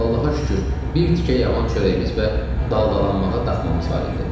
Allaha şükür, bir tikə yavan çörəyimiz və daldalanmağa daxmamız var idi.